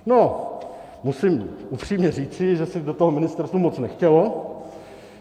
No musím upřímně říci, že se do toho ministerstvu moc nechtělo.